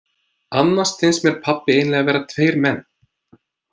Annars finnst mér pabbi eiginlega vera tveir menn.